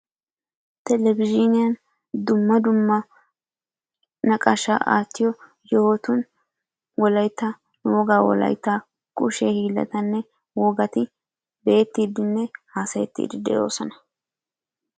Televizhzhiniyan dumma dumma naqaashaa aattiyo yohotun wolaitta nuugaa wolaitta kushshe hiillaatinne wogatti be'ettidinne hasayettidi de'oosona.